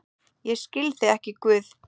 Ég skil þig ekki, Guð.